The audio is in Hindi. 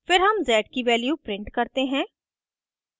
फिर हम z की value print करते हैं